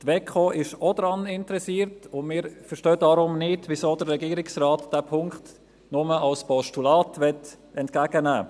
Die WEKO ist auch daran interessiert, und wir verstehen deshalb nicht, weshalb der Regierungsrat diesen Punkt nur als Postulat entgegennehmen möchte.